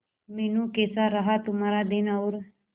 मीनू कैसा रहा तुम्हारा दिन और